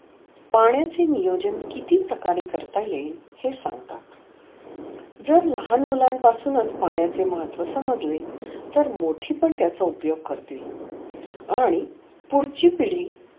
पाण्याचे नियोजन किती प्रकारे कर्ता येतिल हे सांगतात. जर लहान मुलान पासुनच पाण्याच महत्व समजले तर मोठे पण त्याचा उपयोग करतील. आणि पुढची पिडी